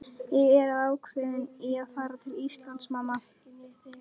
Ég er ákveðinn í að fara til Íslands, mamma.